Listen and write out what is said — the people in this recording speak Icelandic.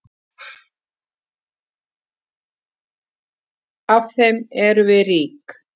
Af þeim erum við rík.